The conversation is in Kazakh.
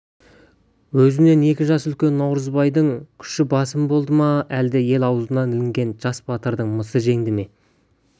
өзінен екі жас үлкен наурызбайдың күші басым болды ма әлде ел аузына ілінген жас батырдың мысы жеңді ме